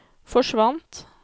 forsvant